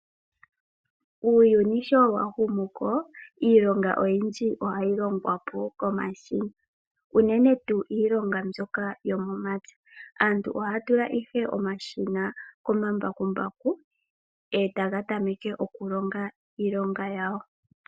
Uuyuni sho wahumu komeho iilonga oyindji ohayi longwa komashina unene tuu iilonga mbyoka yomomapya. Aantu ohaya tula ihe omashina komambakumbaku e taga tameke okulonga iilonga yawo.